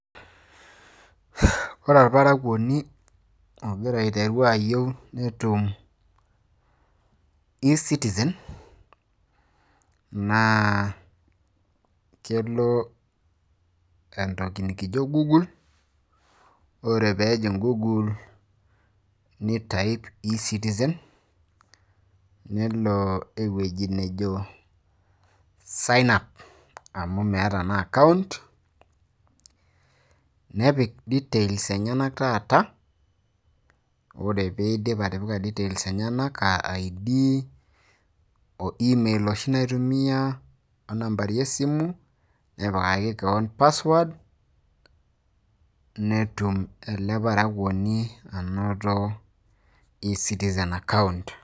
ore olparakuoni, ogira aiteru ayieu netum ecitizen, naa kelo entoki nikijo google. ore peelo google ni type entoki nikijo ecitizen ,nelo ewueji nejo sign up amu meeta naa account ,nepik details enyenak taata, anaa id email oshi naitumia nambari esimu, nepikaki kewon password netum ele parakuoni anoto ecitizen account.